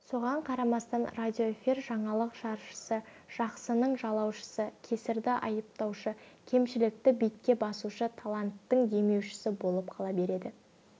соған қарамастан радиоэфир жаңалық жаршысы жақсының жалаушысы кесірді айыптаушы кемшілікті бетке басушы таланттың демеушісі болып қала береді